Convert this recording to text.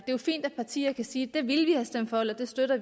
det er fint at partier kan sige at de ville have stemt for eller støttet